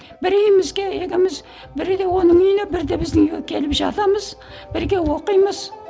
бірі үйімізге екеуміз бірде оның үйіне бірде біздің үйге келіп жатамыз бірге оқимыз